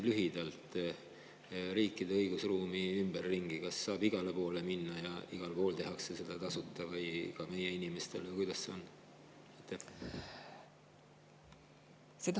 Kui riikide õigusruumi lühidalt kirjeldada, siis kas saab minna igale poole ja igal pool seda tehakse meie inimestele tasuta või kuidas sellega on?